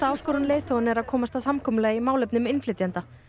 áskorun leiðtoganna er að komast að samkomulagi í málefnum innflytjenda